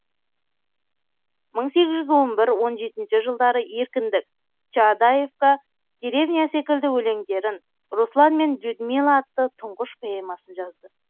мын сегіз жүз он бір он жетінші жылдары еркіндік чаадаевка деревня секілді өлеңдерін руслан мен людмила атты түңғыш поэмасын жазды